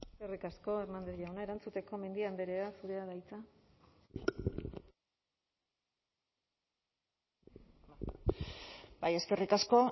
eskerrik asko hernández jauna erantzuteko mendia andrea zurea da hitza bai eskerrik asko